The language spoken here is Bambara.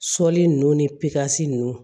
Sɔli nunnu ni pikasi nunnu